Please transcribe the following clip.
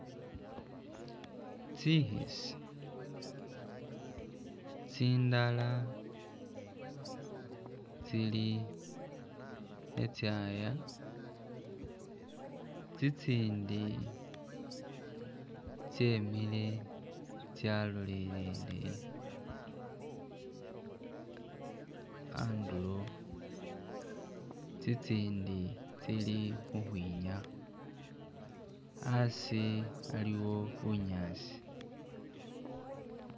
Tsikhisi, tsindala tsili khetsyaya, tsitsindi tsyemile tsyalolele handulo, tsitsindi tsili khukhwinyaha. Hasi aliwo bunyasi.